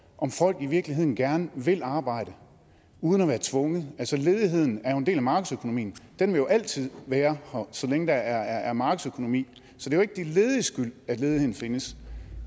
om folk i virkeligheden gerne vil arbejde uden at være tvunget altså ledigheden er jo en del af markedsøkonomien den vil altid være her så længe der er markedsøkonomi så det er jo ikke de lediges skyld at ledigheden findes